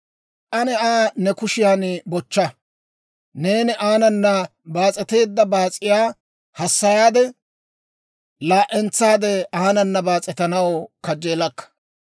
Ane Aa ne kushiyan bochcha; neeni aanana baas'eteedda baas'iyaa hassayaade, laa"entsaade aanana baas'etanaw kajjeelakka!